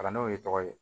Kalan n'o ye tɔgɔ ye